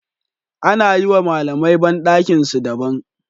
Ana yiwa malamai bandakinsu da ban